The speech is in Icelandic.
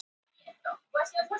Ég flúði reiðilegt augnaráð hans.